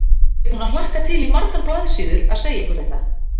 Ég er búin að hlakka til í margar blaðsíður að segja ykkur þetta.